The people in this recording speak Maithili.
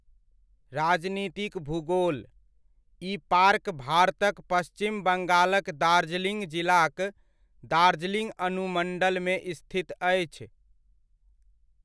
राजनीतिक भूगोलः ई पार्क भारतक पश्चिम बंगालक दार्जिलिंग जिलाक दार्जिलिंग अनुमण्डलमे स्थित अछि।